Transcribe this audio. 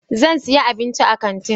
Zan sayi abinci a kantin.